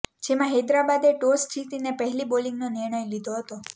જેમાં હૈદરાબાદે ટોસ જીતીને પહેલી બોલિંગનો નિર્ણય લીધો હતો